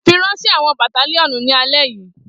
Firanṣẹ awọn battalionu ni alẹ yi!